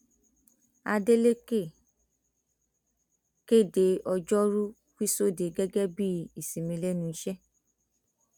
adélèkẹ kéde ọjọrùú wíṣọdẹẹ gẹgẹ bíi ìsinmi lẹnu iṣẹ